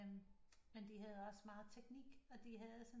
Men de havde også meget teknik og de havde sådan